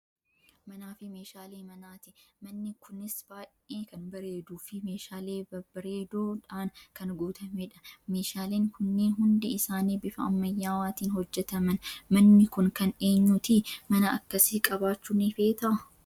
Manaa fi meeshaalee manaati. Manni kunis baay'ee kan bareeduu fi meeshaalee babbareedoo dhaan kan guutameedha. Meeshaaleen kunniin hundi isaanii bifa ammayyawaatiin hojjetaman. Manni kun kan eenyuu ti? mana akkasii qabaachuu ni feetaa?